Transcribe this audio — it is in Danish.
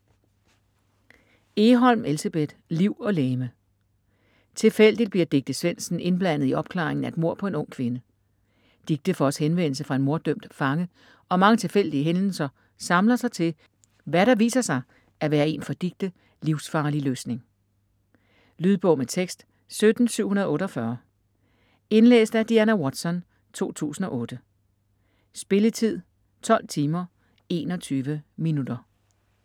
Egholm, Elsebeth: Liv og legeme Tilfældigt bliver Dicte Svendsen indblandet i opklaringen af et mord på en ung kvinde. Dicte får også henvendelse fra en morddømt fange, og mange tilfældige hændelser samler sig til, hvad der viser sig at være en for Dicte livsfarlig løsning. Lydbog med tekst 17748 Indlæst af Diana Watson, 2008. Spilletid: 12 timer, 21 minutter.